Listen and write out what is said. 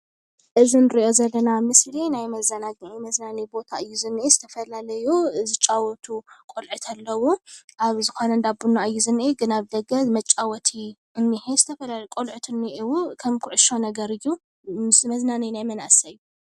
እዚ ንርኦ ዘለና ምስሊ ናይ መዘናግዕ መዝናነይ ባታ እዩ። እዚ ዝነህ ዝተፈላለዩ ዝጫወቱ ቆሉዑት ኣለው አብ ዝኮነ እንዳ ቡና እዩ ዝንሂ ግና ኣብ ደገ መጫወቲ እንሂ ዝተፈላለየ ቁልዕት እንሂቡ ክም ኩዕሾ ነገር እዩ። ምስ መዝናነይ ናይ መናእሰይ